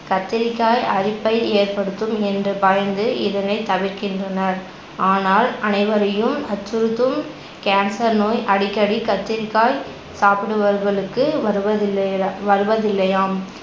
கத்திரிக்காய் அரிப்பை ஏற்படுத்தும் என்று பயந்து இதனை தவிர்கின்றனர். ஆனால் அனைவரையும் அச்சுருத்தும் cancer நோய் அடிக்கடி கத்திரிக்காய் சாப்பிடுபவர்களுக்கு வருவதில்லையெல வருவதில்லையாம்